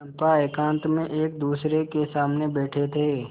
चंपा एकांत में एकदूसरे के सामने बैठे थे